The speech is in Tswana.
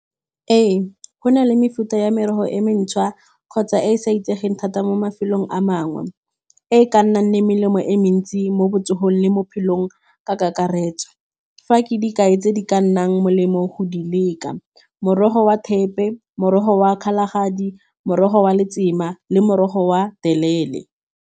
Ee, go na le mefuta ya merogo e mentšha kgotsa e e sa itsegeng thata mo mafelong a mangwe, e e ka nnang le melemo e mentsi mo botsogong le mo bophelong ka kakaretso. Fa ke dikai tse di ka nnang molemo go di leka, morogo wa thepe, morogo wa kgalagadi, morogo wa letsema le morogo wa telele.